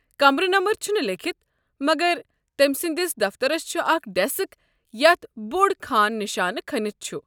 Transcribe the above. کمرٕ نمبر چھُنہٕ لیٖکھِتھ مگر تٔمۍ سٕنٛدس دفترس چھُ اکھ ڈیسک یتھ بوٚڈ خان نشانہٕ کھٔنتھ چھُ۔